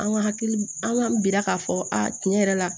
An ka hakili an b'an bila k'a fɔ a tiɲɛ yɛrɛ la